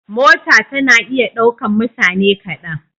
Mota tana iya ɗaukan mutane kaɗan.